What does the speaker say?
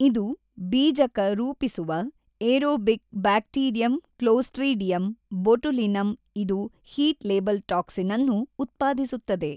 ಇದು ಬೀಜಕ ರೂಪಿಸುವ ಏರೊಬಿಕ್ ಬ್ಯಾಕ್ಟೀರಿಯಂ ಕ್ಲೋಸ್ಟ್ರಿಡಿಯಮ್ ಬೊಟುಲಿನಮ್ ಇದು ಹೀಟ್ ಲೇಬಲ್ ಟಾಕ್ಸಿನ್ ಅನ್ನು ಉತ್ಪಾದಿಸುತ್ತದೆ.